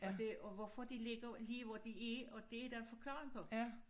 Og det og hvorfor de ligger lige hvor de er og det er der forklaring på